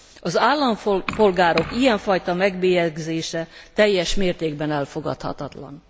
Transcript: Az állampolgárok ilyen fajta megbélyegzése teljes mértékben elfogadhatatlan.